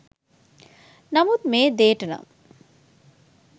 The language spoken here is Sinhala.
නමුත් මේ දේට නම්